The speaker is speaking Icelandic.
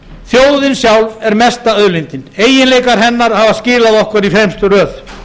þjóðin sjálf er mesta auðlindin eiginleikar hennar hafa skilað okkur í fremstu röð